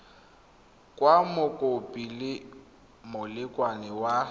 kwa mokopi le molekane wa